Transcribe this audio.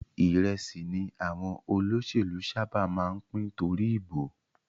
Ìrẹsì ni àwọn olóṣèlú sábà máa ń pín torí ìbò